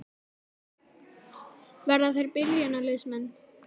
Verða þeir byrjunarliðsmenn?